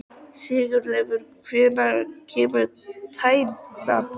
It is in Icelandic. Sigurleifur, hvenær kemur tían?